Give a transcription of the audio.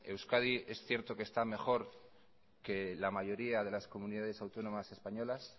euskadi es cierto que está mejor que la mayoría de las comunidades autónomas españolas